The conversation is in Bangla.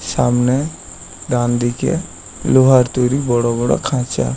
সামনে ডান দিকে লোহার তৈরি বড় বড় খাঁচা।